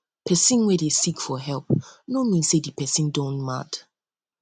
pesin wey dey seek for help no mean say di pesin don pesin don mad